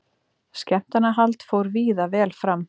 Skemmtanahald fór víða vel fram